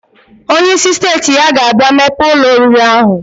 Onye isi steeti ya ga abia mepe Ụlọ oriri ahu.